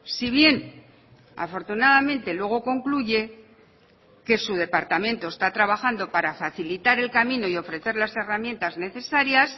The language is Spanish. si bien afortunadamente luego concluye que su departamento está trabajando para facilitar el camino y ofrecer las herramientas necesarias